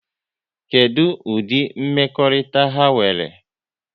Kedụ ụdịri mmekọrịta ha nwere?